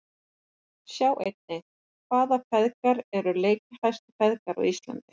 Sjá einnig: Hvaða feðgar eru leikjahæstu feðgar á Íslandi?